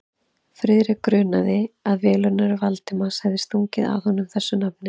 Friðrik grunaði, að velunnari Valdimars hefði stungið að honum þessu nafni.